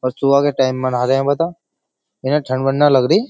और सुबह के टाइम मना रहे बता। इन्हैं ठंड-वन्ड न लग रही।